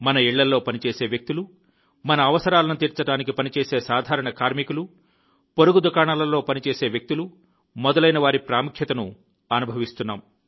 మన ఇళ్లలో పనిచేసే వ్యక్తులు మన అవసరాలను తీర్చడానికి పనిచేసే సాధారణ కార్మికులు పొరుగు దుకాణాలలో పనిచేసే వ్యక్తులు మొదలైనవారి ప్రాముఖ్యతను అనుభవిస్తున్నాం